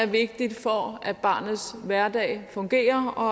vigtigt for at barnets hverdag fungerer og